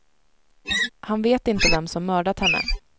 Han vet inte vem som mördat henne.